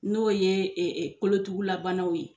N'o ye kolotugulabanaw ye.